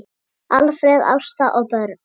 Alfreð, Ásta og börn.